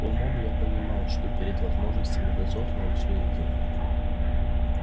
умом я понимал что перед возможностями дозорного все едино